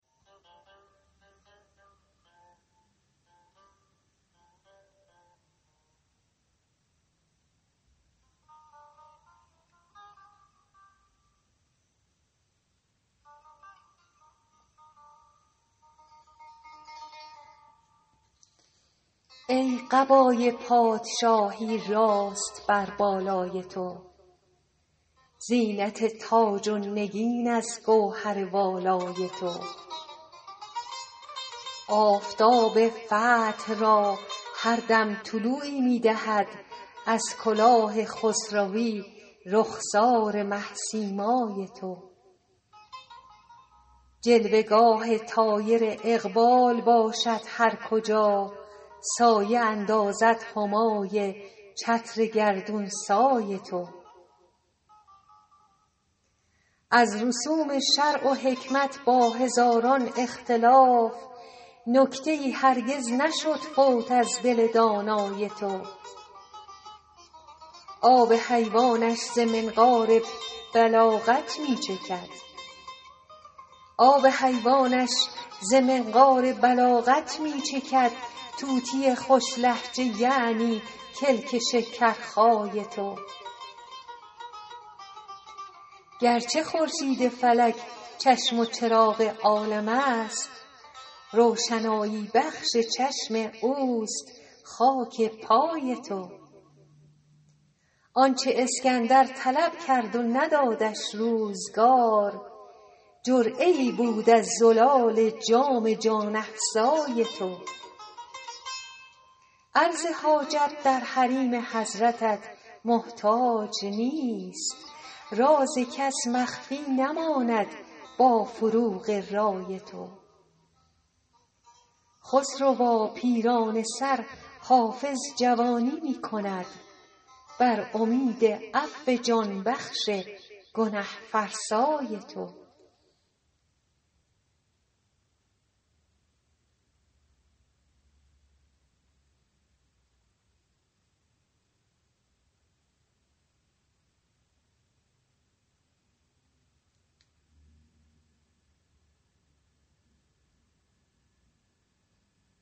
ای قبای پادشاهی راست بر بالای تو زینت تاج و نگین از گوهر والای تو آفتاب فتح را هر دم طلوعی می دهد از کلاه خسروی رخسار مه سیمای تو جلوه گاه طایر اقبال باشد هر کجا سایه اندازد همای چتر گردون سای تو از رسوم شرع و حکمت با هزاران اختلاف نکته ای هرگز نشد فوت از دل دانای تو آب حیوانش ز منقار بلاغت می چکد طوطی خوش لهجه یعنی کلک شکرخای تو گرچه خورشید فلک چشم و چراغ عالم است روشنایی بخش چشم اوست خاک پای تو آن چه اسکندر طلب کرد و ندادش روزگار جرعه ای بود از زلال جام جان افزای تو عرض حاجت در حریم حضرتت محتاج نیست راز کس مخفی نماند با فروغ رای تو خسروا پیرانه سر حافظ جوانی می کند بر امید عفو جان بخش گنه فرسای تو